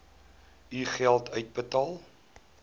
u geld uitbetaal